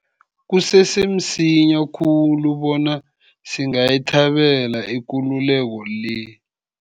Kusese msinya khulu bona singayithabela ikululeko le.